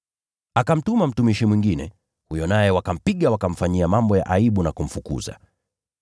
Akamtuma mtumishi mwingine, huyo naye wakampiga, wakamfanyia mambo ya aibu na kumfukuza.